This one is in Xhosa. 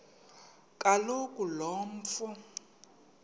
kaloku lo mfo